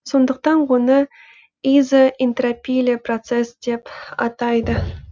сондықтан оны изоэнтропийлі процесс деп атайды